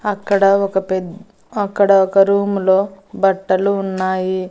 అక్కడ ఒక పెద్ద అక్కడ ఒక రూము లో బట్టలు ఉన్నాయి.